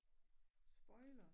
Spoiler